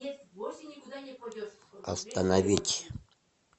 остановить